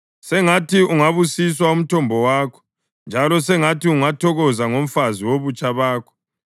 Sengathi ungabusiswa umthombo wakho njalo sengathi ungathokoza ngomfazi wobutsha bakho.